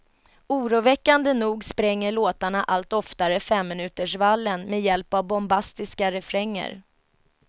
Oroväckande nog spränger låtarna allt oftare femminutersvallen med hjälp av bombastiska refränger.